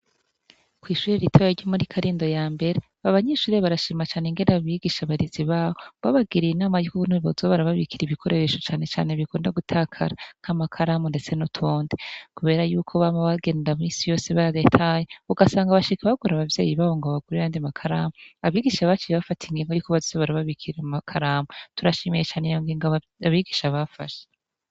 Kw'ishuri ritaya ry'umuri karindo ya mbere ba banyishurire barashimacane ingera abigisha abarizi bawe ngo babagiriye inama ykuubun'ibibozo barababikira ibikoreresho canecane bikonda gutakarak' amakaramu, ndetse n'utonde, kubera yuko bama bagenda mw'isi yose baagetaye ugasanga bashika bagora abavyeyi babo ngo bagurirandimakaramu abigisha bacu b bafata e ingingo y'ukobe sibara babikirira makaramu turashimiye cane iyongoingo abigisha bafasha.